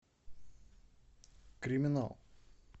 криминал